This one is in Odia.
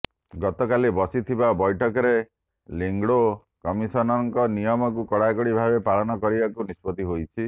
ଗତକାଲି ବସିଥିବା ବୈଠକରେ ଲିଙ୍ଗଡୋ କମିଶନଙ୍କ ନିୟକମକୁ କଡାକଡି ଭାବେ ପାଳନ କରିବାକୁ ନିଷ୍ପତି ହୋଇଛି